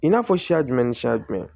I n'a fɔ siya jumɛn ni siya jumɛn